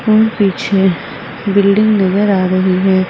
पीछे बिल्डिंग नजर आ रही है।